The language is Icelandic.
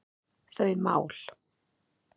þau mál.